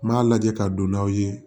N m'a lajɛ ka don n'aw ye